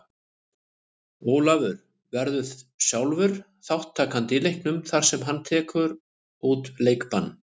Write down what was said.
Ólafur verður sjálfur ekki þátttakandi í leiknum þar sem hann tekur út leikbann.